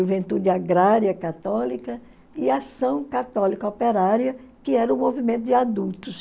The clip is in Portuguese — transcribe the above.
Juventude Agrária Católica e Ação Católica Operária, que era o movimento de adultos.